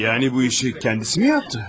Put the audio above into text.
Yəni bu işi kəndisi mi yapdı?